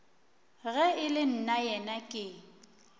ge e le nnaena ke